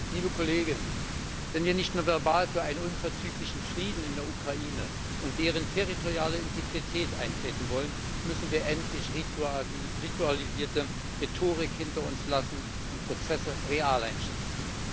Liebe Kollegen, wenn wir nicht nur verbal für einen unverzüglichen Frieden in der Ukraine und deren territoriale Integrität eintreten wollen, müssen wir endlich ritualisierte Rhetorik hinter uns lassen und Prozesse real einschätzen.